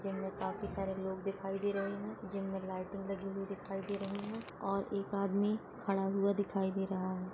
Gym में काफी सारे लोग दिखाई दे रहे हैं। जिम में लाइटिंग लगी हुई दिखाई दे रही है और एक आदमी खड़ा हुआ दिखाई दे रहा है।